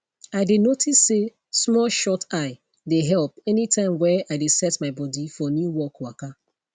i dey notice say small shut eye dey help anytime were i dey set my body for new work waka